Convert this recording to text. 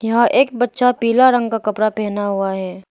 यहां एक बच्चा पीला रंग का कपड़ा पहना हुआ है।